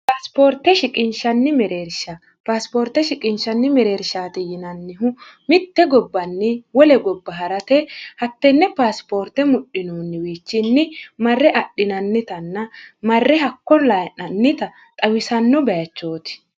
sioorteshiqishnnimereershpaasipoorte shiqinshanni mereershaati yinannihu mitte gobbanni wole gobba ha'rate hattenne paasipoorte mudhinoonniwiichinni marre adhinannitanna marre hakko layi'nannita xawisanno bayichooti